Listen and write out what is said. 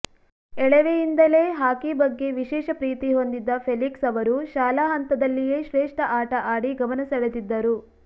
ಎಳವೆಯಿಂದಲೇ hockey ಬಗ್ಗೆ ವಿಶೇಷ ಪ್ರೀತಿ ಹೊಂದಿದ್ದ ಫೆಲಿಕ್ಸ್ ಅವರು ಶಾಲಾ ಹಂತದಲ್ಲಿಯೇ ಶ್ರೇಷ್ಠ ಆಟ ಆಡಿ ಗಮನ ಸೆಳೆದಿದ್ದರು